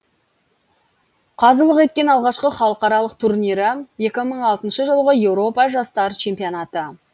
қазылық еткен алғашқы халықаралық турнирі екі мың алтыншы жылғы еуропа жастар чемпионаты